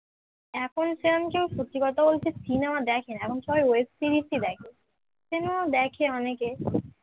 এখন সেরকম কেউ সত্যি কথা বলতে cinema দেখে না এখন সবাই web series ই দেখে cinema ও দেখে অনেকে